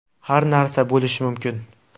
Har narsa bo‘lishi mumkin.